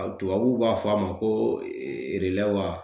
Ɔ tubabuw b'a fɔ a ma ko erelɛ wa